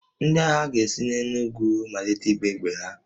Ndị agha ga-esi n'elu ugwu malite ịgba egbe ha